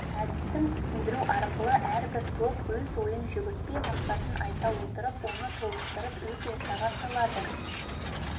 әдістің түсіндіру арқылы әрбір топ өз ойын жүгіртпе мақсатын айта отырып оны толықтырып өз ортаға салады